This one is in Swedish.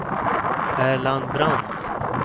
Erland Brandt